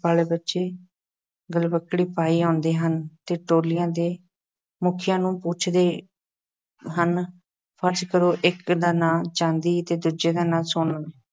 ਵਾਲੇ ਬੱਚੇ ਗਲਵੱਕੜੀ ਪਾਈ ਆਉਂਦੇ ਹਨ ਅਤੇ ਟੋਲੀਆਂ ਦੇ ਮੁਖੀਆਂ ਨੂੰ ਪੁੱਛਦੇ ਹਨ ਫ਼ਰਜ਼ ਕਰੋ ਕਿ ਇੱਕ ਦਾ ਨਾਂ ਚਾਂਦੀ ਅਤੇ ਦੂਜੇ ਦਾ ਸੋਨਾ